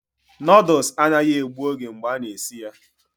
Noodles anaghị egbu oge mgbe a na-esi ya